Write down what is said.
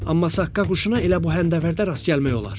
Amma saqqa quşuna elə bu həndəvərdə rast gəlmək olar.